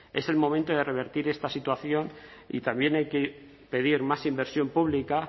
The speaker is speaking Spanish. es el momento de revertir esta situación y también hay que pedir más inversión pública